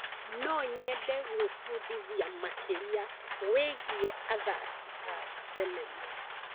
No nyende gwĩbundithia makĩria wĩgiĩ athaki a thenema.